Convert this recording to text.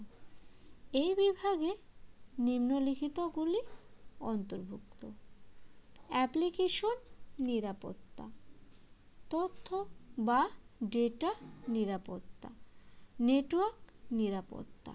এই বিভাগে নিম্নলিখিত গুলি অন্তর্ভুক্ত application নিরাপত্তা তথ্য বা data নিরাপত্তা network নিরাপত্তা